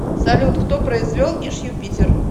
салют кто произвел иж юпитер